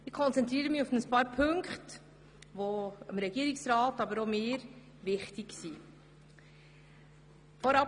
Ich konzentriere mich deshalb auf ein paar Punkte, die dem Regierungsrat, aber auch mir wichtig sind.